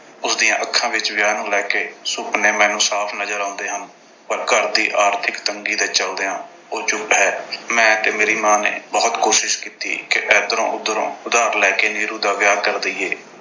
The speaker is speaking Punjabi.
ਉਸਦੀਆਂ ਅੱਖਾਂ ਵਿੱਚ ਵਿਆਹ ਨੂੰ ਲੈ ਕੇ ਸੁਪਨੇ ਮੈਨੂੰ ਸਾਫ਼ ਨਜ਼ਰ ਆਉਂਦੇ ਹਨ। ਪਰ ਘਰ ਦੀ ਆਰਥਿਕ ਤੰਗੀ ਦੇ ਚਲਦਿਆਂ ਉਹ ਚੁੱਪ ਹੈ। ਮੈਂ ਤੇ ਮੇਰੀ ਮਾਂ ਨੇ ਬਹੁਤ ਕੋਸ਼ਿਸ਼ ਕੀਤੀ ਕਿ ਇਧਰੋਂ ਉਧਰੋਂ ਉਧਾਰ ਲੈ ਕੇ ਨੀਰੂ ਦਾ ਵਿਆਹ ਕਰ ਦੇਈਏ।